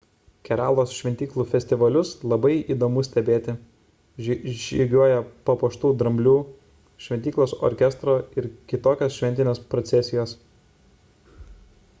keralos šventyklų festivalius labai įdomu stebėti – žygiuoja papuoštų dramblių šventyklos orkestro ir kitokios šventinės procesijos